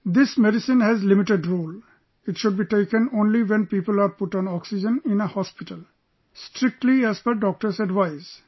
This medicine has a limited role...it should be taken only when people are put on oxygen in a hospital, strictly as per the Doctor's advice